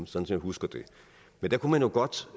som jeg husker det men der kunne man jo godt